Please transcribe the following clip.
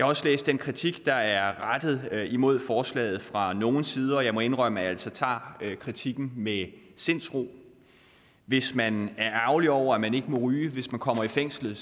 også læst den kritik der er rettet mod forslaget fra nogle sider og jeg må indrømme at jeg altså tager kritikken med sindsro hvis man er ærgerlig over at man ikke må ryge hvis man kommer i fængsel